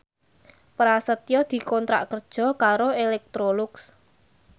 Prasetyo dikontrak kerja karo Electrolux